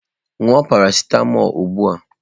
Ṅụọ parasịtamọlụ ugbu a!